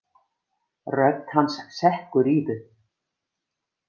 Rödd hans sekkur í þau.